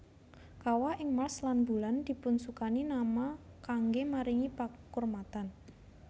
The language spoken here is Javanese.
Kawah ing Mars lan Bulan dipunsukani nama kanggé maringi pakurmatan